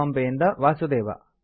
ಬಾಂಬೆಯಿಂದ ವಾಸುದೇವ